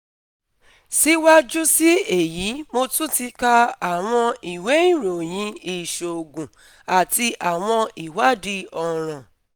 Siwaju si eyi Mo tun ti ka awọn iwe iroyin iṣoogun ati awọn iwadii ọran